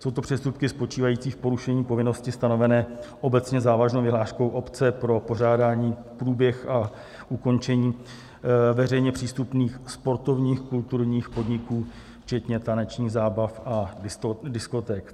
Jsou to přestupky spočívající v porušení povinnosti stanovené obecně závaznou vyhláškou obce pro pořádání, průběh a ukončení veřejně přístupných sportovních, kulturních podniků, včetně tanečních zábav a diskoték.